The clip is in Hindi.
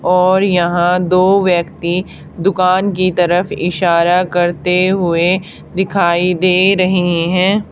और यहां दो व्यक्ति दुकान की तरफ इशारा करते हुए दिखाई दे रहें है।